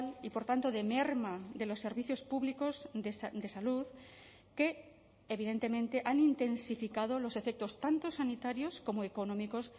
y por tanto de merma de los servicios públicos de salud que evidentemente han intensificado los efectos tanto sanitarios como económicos